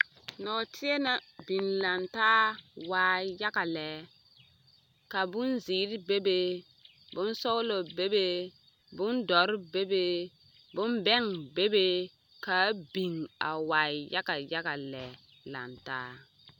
Nɔɔteɛ naŋ biŋ lantaa waa yaɡa lɛ ka bonziiri bebe bonsɔɡelɔ bebe bondɔre bebe bombɛŋ bebe ka a biŋ waa yaɡayaɡa lɛ lantaa.